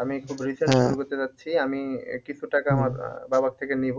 আমি খুব recent শুরু করতে চাচ্ছি আমি আহ কিছু টাকা আমার আহ বাবার থেকে নিব